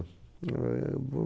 É o